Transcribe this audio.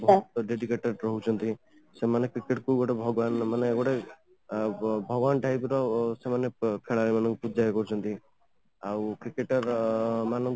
educator ଦଉଛନ୍ତି ସେମାନେ cricket କୁ ଗୋଟେ ଭଗବାନ ମାନେ ଗୋଟେ ଭଗବାନ type ର ଖେଳାଳୀ ମାନଙ୍କୁ ପୂଜା କରୁଛନ୍ତି ଆଉ Cricketer ମାନଙ୍କୁ